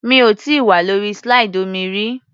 Mi ò tíì wà lórí slide omi rí.